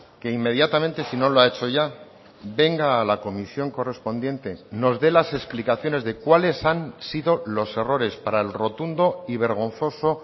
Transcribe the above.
que inmediatamente si no lo ha hecho ya venga a la comisión correspondiente nos dé las explicaciones de cuales han sido los errores para el rotundo y vergonzoso